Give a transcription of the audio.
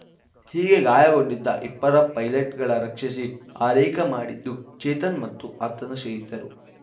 ಹೀಗೆ ಗಾಯಗೊಂಡಿದ್ದ ಇಬ್ಬರ ಪೈಲೆಟ್‌ಗಳ ರಕ್ಷಿಸಿ ಆರೈಕೆ ಮಾಡಿದ್ದು ಚೇತನ್‌ ಮತ್ತು ಆತನ ಸ್ನೇಹಿತರು